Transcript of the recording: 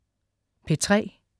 P3: